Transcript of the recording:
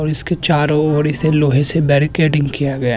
और इसके चारो ओर इसे लोहे से बेरिकेडिंग किया गया--